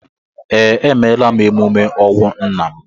Ee, emeela m emume ọnwụ nna m